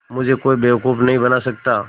मुझे कोई बेवकूफ़ नहीं बना सकता